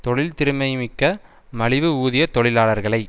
தொழில் திறமைமிக்க மலிவு ஊதிய தொழிலாளர்களை